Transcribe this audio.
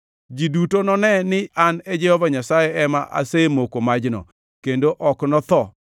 Ji duto none ni an Jehova Nyasaye ema asemoko majno, kendo ok notho.